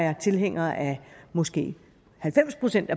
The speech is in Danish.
er tilhænger af måske halvfems procent